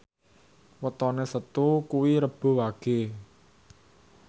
wetone Setu kuwi Rebo Wage